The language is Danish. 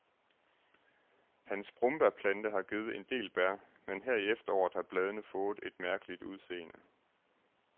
Hans brombærplante har givet en del bær, men her i efteråret har bladene fået et mærkeligt udseende.